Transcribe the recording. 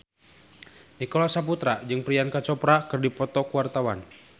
Nicholas Saputra jeung Priyanka Chopra keur dipoto ku wartawan